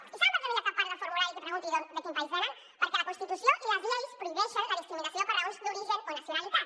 i saben per què no hi ha cap part del formulari que pregunti de quin país venen perquè la constitució i les lleis prohibeixen la discriminació per raons d’origen o nacionalitat